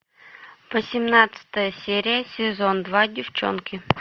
восемнадцатая серия сезон два девчонки